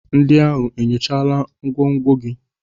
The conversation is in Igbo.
Ndị ahụ enyochala ngwongwo gị?